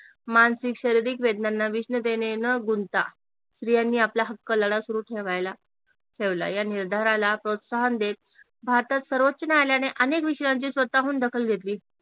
मानसिक, शारिरीक वेदनांना विष्णतेने न गुंता स्त्रियांनी आपला हक्क लढा सुरू ठेवायला ठेवला या निर्धाराला प्रोत्साहन देत भारतात सर्वोच्च न्यायालयाने अनेक विषयांची स्वतःहून दखल घेतली